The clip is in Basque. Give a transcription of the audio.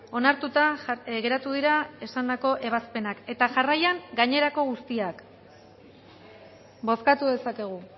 onartuta geratu dira esandako ebazpenak eta jarraian gainerako guztiak bozkatu dezakegu